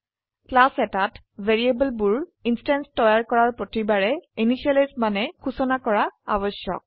class এটাত variable বোৰ instance তৈয়াৰ কৰাৰ প্ৰতিবাৰে ইনিসিয়েলাইজ মানে সুচনা কৰা আবশ্যক